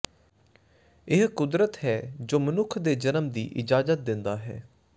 ਇਹ ਕੁਦਰਤ ਹੈ ਜੋ ਮਨੁੱਖ ਦੇ ਜਨਮ ਦੀ ਇਜਾਜ਼ਤ ਦਿੰਦਾ ਹੈ